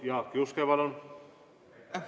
Jaak Juske, palun!